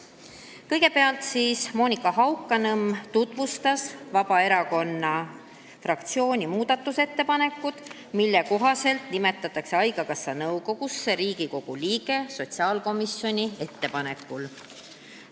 Kõigepealt tutvustas Monika Haukanõmm Vabaerakonna fraktsiooni muudatusettepanekut nimetada haigekassa nõukogusse Riigikogu liige sotsiaalkomisjoni ettepanekul.